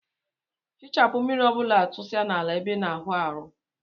Fichapu mmiri ọbula tusa na ala ebe ina awụ aeụ.